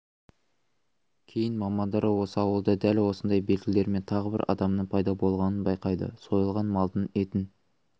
кейін мамандар осы ауылда дәл сондай белгілермен тағы бір адамның пайда болғанын байқайды сойылған малдың етін